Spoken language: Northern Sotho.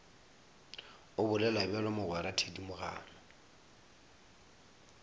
o bolela bjalo mogwera thedimogane